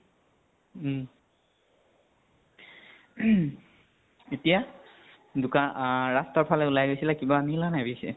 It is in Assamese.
উম । এতিয়া দুকান আ ৰাস্তাৰ ফালে উলাই গৈছিলে কিবা আনিলে নে বিশেষ।